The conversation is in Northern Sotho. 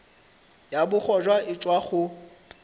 ya bogoja e tšwa go